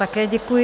Také děkuji.